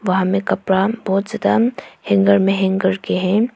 वहां में कपड़ा बहोत ज्यादा हैंगर में हैंग करके हैं।